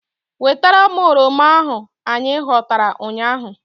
Wetara m oroma ahu anyị ghọtara ụnyaahụ!